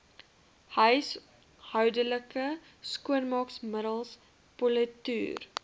huishoudelike skoonmaakmiddels politoer